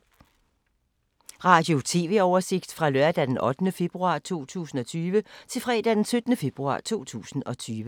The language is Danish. Radio/TV oversigt fra lørdag d. 8. februar 2020 til fredag d. 14. februar 2020